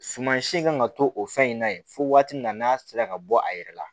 Suman si kan ka to o fɛn in na yen fo waati min na n'a sera ka bɔ a yɛrɛ la